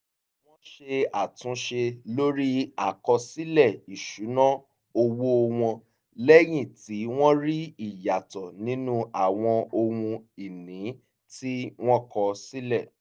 wọ́n ṣe àtúnṣe lórí àkọsílẹ̀ ìṣúná owó wọn lẹ́yìn tí wọ́n rí ìyàtọ̀ nínú àwọn ohun-ìní tí wọ́n kọ sílẹ̀